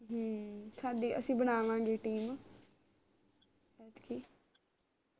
ਹਮ ਸਾਡੇ ਅਸੀਂ ਬਣਾਵਾਂਗੇ team ਐਤਕੀ